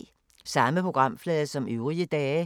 Samme programflade som øvrige dage